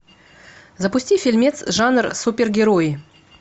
запусти фильмец жанр супергерои